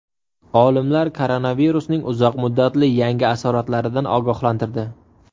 Olimlar koronavirusning uzoq muddatli yangi asoratlaridan ogohlantirdi.